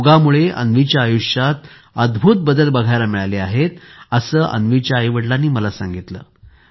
योगमुळे अन्वीच्या आयुष्यात अद्भुत बदल बघायला मिळाले आहेत असे अन्वीच्या आईवडिलांनी मला सांगितले